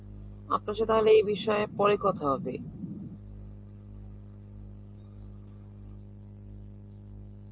আপনার সাথে তাহলে পরে কথা হবে.